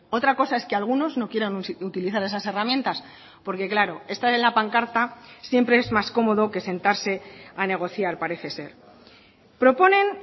otra cosa es que algunos no quieran utilizar esas herramientas porque claro estar en la pancarta siempre es más cómodo que sentarse a negociar parece ser proponen